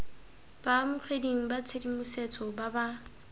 baamogeding ba tshedimosetso ba ba